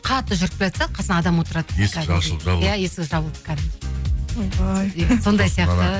қатты жүріп келатса қасыңа адам отырады иә есік жабылып кәдімгідей ойбай сондай сияқты